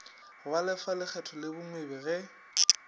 balefa lekgetho le bagwebi ge